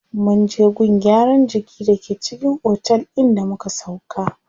Munje gun gyaran jiki da ke cikin otel din da muka sauƙa.